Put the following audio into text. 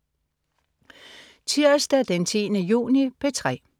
Tirsdag den 10. juni - P3: